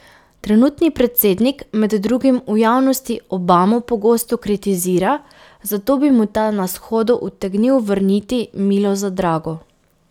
Trenutni predsednik med drugim v javnosti Obamo pogosto ostro kritizira, zato bi mu ta na shodu utegnil vrniti milo za drago.